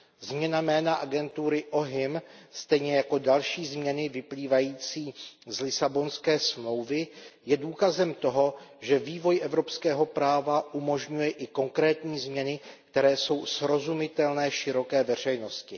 Změna jména agentury OHIM stejně jako další změny vyplývající z Lisabonské smlouvy jsou důkazem toho, že vývoj evropského práva umožňuje i konkrétní změny, které jsou srozumitelné široké veřejnosti.